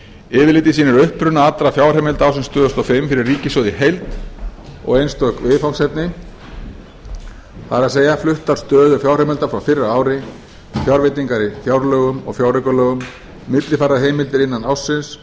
yfirlitið sýnir uppruna allra fjárheimilda ársins tvö þúsund og fimm fyrir ríkissjóð í heild og einstök viðfangsefni það er fluttar stöður fjárheimilda frá fyrra ári fjárveitingar í fjárlögum og fjáraukalögum millifærðar heimildir innan ársins